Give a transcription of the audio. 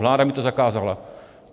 Vláda mi to zakázala.